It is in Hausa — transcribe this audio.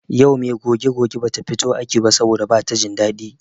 Yau me goge goge bata fito aiki ba saboda bata jin daɗi.